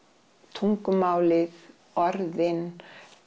tungumálið orðin